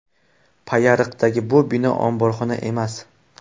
Payariqdagi bu bino omborxona emas.